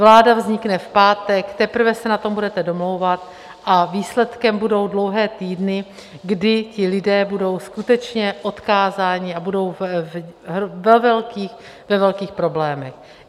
Vláda vznikne v pátek, teprve se na tom budete domlouvat a výsledkem budou dlouhé týdny, kdy ti lidé budou skutečně odkázáni a budou ve velkých problémech.